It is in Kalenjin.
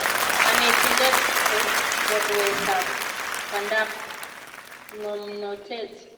kanetindet ko chorwetap pandap ngomnotet